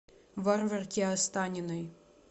варварке останиной